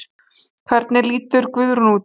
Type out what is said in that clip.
Hvernig lítur Guð út?